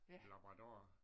En labrador